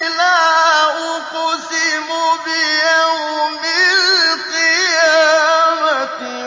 لَا أُقْسِمُ بِيَوْمِ الْقِيَامَةِ